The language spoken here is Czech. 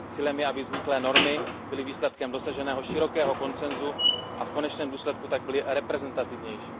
Cílem je, aby vzniklé normy byly výsledkem dosaženého širokého konsensu, a v konečném důsledku tak byly reprezentativnější.